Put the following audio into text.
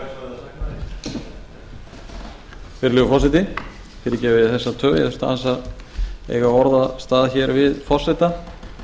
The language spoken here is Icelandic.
virðulegi forseti fyrirgefið þið þessa töf ég þurfti aðeins að eiga orðastað hér við forseta